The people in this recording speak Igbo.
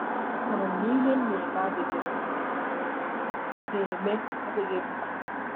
Ahụrụ m na ihe m na-eme adịghị mma na-eme adịghị mma.